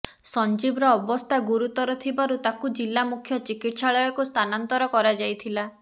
ସଞ୍ଜିବର ଅବସ୍ଥା ଗୁରୁତର ଥିବାରୁ ତାକୁ ଜିଲ୍ଳା ମୁଖ୍ୟ ଚିକିତ୍ସାଳୟକୁ ସ୍ଥାନାନ୍ତର କରାଯାଇଥିଲା